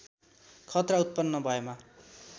खतरा उत्पन्न भएमा